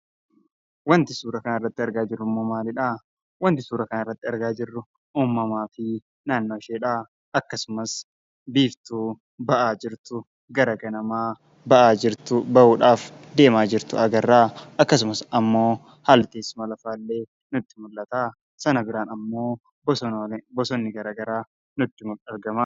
Wanti suuraa kanarratti argaa jirru immoo maalidha? Wanti suuraa kanarratti argaa jirru uumamaafi naannooshee dha. Akkasumas, biiftuu gara ganamaa bahaa jirtu (ba'uudhaaf deemaa jirtu) agarra. Akkasumas ammoo, haalli teessuma lafaa illee nutti mul'ata. Sana biraan ammoo bosonni gosa garaagaraa nutti argam.